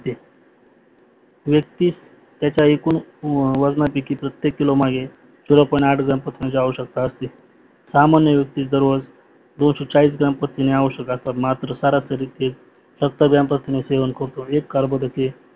याच्या एकूण वजनाची किमत प्रतेक किलो मागे ग्राम प्रथिन्याची आवशक्यता असते. सामान्य व्यक्तीत दररोज ग्राम प्रथिने आवश्यक असतात मात्र सरासरी ते ग्राम प्रथिने सेवण करून कार्बोदके